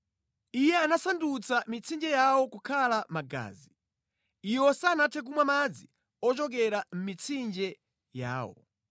Iye anasandutsa mitsinje yawo kukhala magazi; Iwo sanathe kumwa madzi ochokera mʼmitsinje yawo.